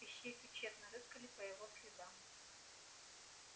ищейки тщетно рыскали по его следам